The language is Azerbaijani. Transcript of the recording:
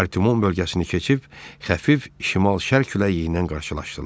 Artemun bölgəsini keçib, Xəfif şimal-şərq küləyindən qarşılaşdılar.